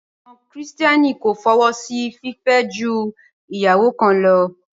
Àwọn kìrìtẹ́nì kò fọwọ́ sí fìfẹ́ ju ìyàwó kan lọ